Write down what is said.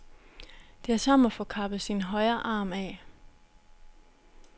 Det er som at få kappet sin højre arm af.